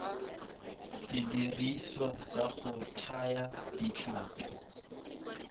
sediriswa sa go thaya ditlhapi